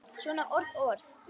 Svona orð og orð.